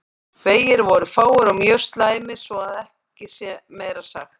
Vegir voru fáir og mjög slæmir svo að ekki sé meira sagt.